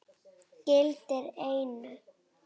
gildir einu.